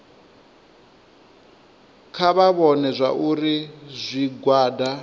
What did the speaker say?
kha vha vhone zwauri zwigwada